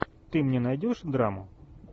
ты мне найдешь драму